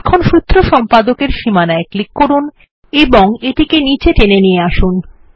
এখন সূত্র সম্পাদকের সীমানায় ক্লিক করুন এবং এটিকে নীচে টেনে নিয়ে আসুন